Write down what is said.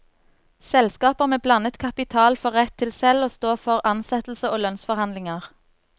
Selskaper med blandet kapital får rett til selv å stå for ansettelse og lønnsforhandlinger.